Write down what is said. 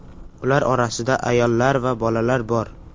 Ular orasida ayollar va bolalar bor.